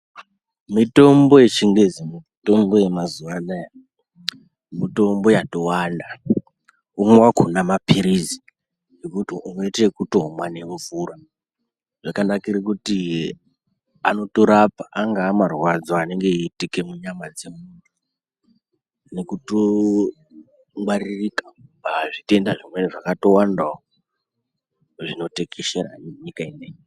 Mitombo yechingezi mitombo yemazuwa anaya, mitombo yatowanda .Umwe wakhona maphirizi ekuti unoite ekutomwa nemvura. Zvakanakire kuti anotorapa angaamarwadzo anenge eitike munyama dzemunhu nekutongwaririka pazvitenda zvimweni zvakatowandawo zvinotekeshera nenyika ineyi.